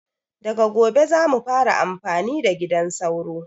Daga gobe zamu daina amfani da gidan sauro